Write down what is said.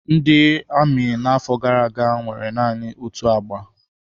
Ndị amị n'afọ gara aga nwere naanị otu agba.